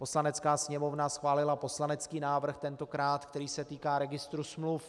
Poslanecká sněmovna schválila poslanecký návrh tentokrát, který se týká registru smluv.